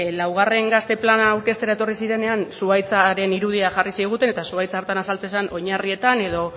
laugarren gazte plana aurkeztera etorri zirenean zuhaitzaren irudia jarri ziguten eta zuhaitz hartan azaltzen zen oinarrietan edo